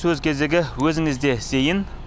сөз кезегі өзіңізде зейін